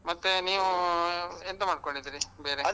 ಮತ್ತೇ, ನೀವೂ ಎಂತ ಮಾಡ್ಕೊಂಡಿದೀರಿ ಬೇರೆ?